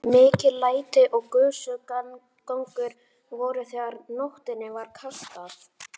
Mikil læti og gusugangur voru þegar nótinni var kastað.